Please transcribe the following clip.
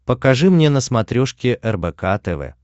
покажи мне на смотрешке рбк тв